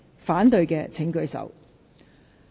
反對的請舉手。